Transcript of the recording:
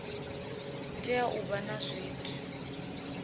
tea u vha na zwithu